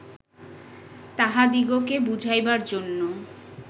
তাঁহাদিগকে বুঝাইবার জন্য